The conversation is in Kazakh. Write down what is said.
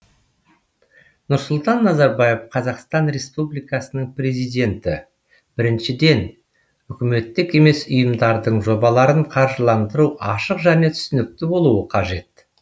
нұрсұлтан назарбаев қазақстан республикасының президенті біріншіден үкіметтік емес ұйымдардың жобаларын қаржыландыру ашық және түсінікті болуы қажет